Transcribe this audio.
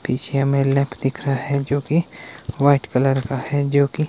पीछे में दिख रहा है जो की वाइट कलर का है जो की --